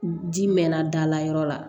Ji mɛnna dala yɔrɔ la